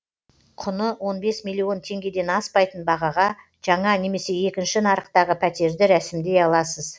құны он бес миллион теңгеден аспайтын бағаға жаңа немесе екінші нарықтағы пәтерді рәсімдей аласыз